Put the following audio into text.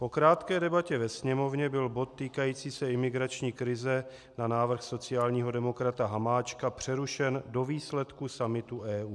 "Po krátké debatě ve Sněmovně byl bod týkající se imigrační krize na návrh sociálního demokrata Hamáčka přerušen do výsledku summitu EU.